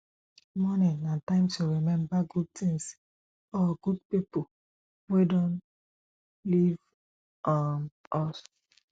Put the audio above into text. mourning na time to remember good things or good pipo wey don leave um us